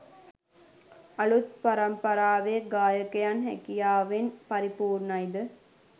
අලුත් පරම්පරාවේ ගායකයන් හැකියාවෙන් පරිපූර්ණයි ද?